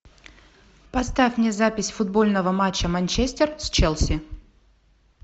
поставь мне запись футбольного матча манчестер с челси